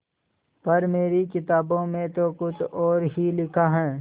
पर मेरी किताबों में तो कुछ और ही लिखा है